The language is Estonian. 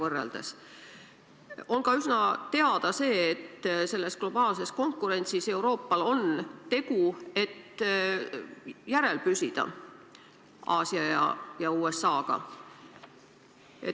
On üsna hästi teada ka see, et selles globaalses konkurentsis on Euroopal tegu, et Aasial ja USA-l kannul püsida.